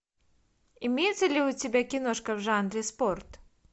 имеется ли у тебя киношка в жанре спорт